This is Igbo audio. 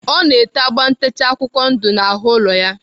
Ọ na-ete agba ntecha akwụkwọ ndụ n'ahụ ụlọ ya.